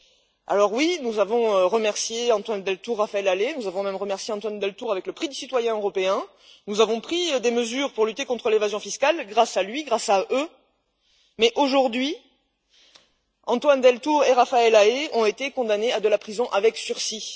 2. Alors, oui, nous avons remercié Antoine Deltour et Raphaël Halet, nous avons même remercié Antoine Deltour avec le prix du citoyen européen. Nous avons pris des mesures pour lutter contre l'évasion fiscale grâce à lui grâce à eux mais aujourd'hui, Antoine Deltour et Raphaël Halet ont été condamnés à de la prison avec sursis.